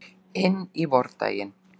Inn í vordaginn.